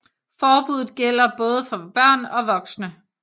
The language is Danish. Forbuddet gælder både for børn og voksne